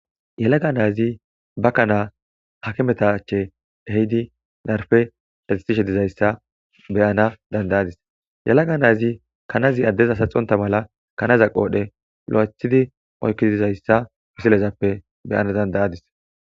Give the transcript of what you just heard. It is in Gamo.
Yellaga nayiti ba kaana akimeta achche ehidi narppe caddisishe dizayissa be'ana dandayadis yellaga nayiti kannazii addeza saxxonta mala kannaza qodhdhe lo'eththi oykkidi dizayissa missilezappe be'ana dandayadis.